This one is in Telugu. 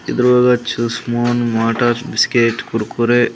Spoon motor biscuit Kurkure.